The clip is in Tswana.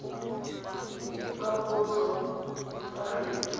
diphaposo tsa kgetse mo tshekong